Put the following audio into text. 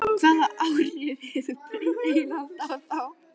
Hvaða áhrif hefur breytt eignarhald á þá?